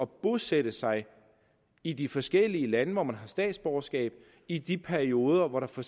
bosætte sig i de forskellige lande hvor man har statsborgerskab i de perioder hvor der for